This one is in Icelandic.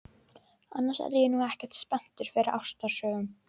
Annars er ég nú ekkert spenntur fyrir ástarsögum.